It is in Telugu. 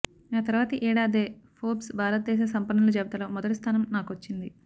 ఆ తర్వాతి ఏడాదే ఫోర్బ్స్ భారతదేశ సంపన్నుల జాబితాలో మొదటిస్థానం నాకొచ్చింది